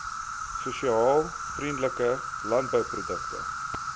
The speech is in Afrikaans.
sosiaal vriendelike landbouprodukte